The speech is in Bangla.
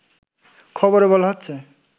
খবরে বলা হচ্ছে